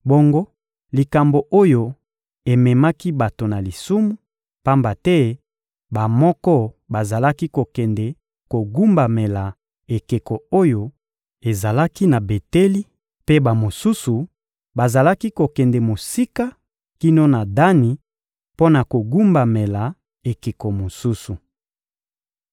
Bongo likambo oyo ememaki bato na lisumu, pamba te bamoko bazalaki kokende kogumbamela ekeko oyo ezalaki na Beteli, mpe bamosusu bazalaki kokende mosika kino na Dani mpo na kogumbamela ekeko mosusu.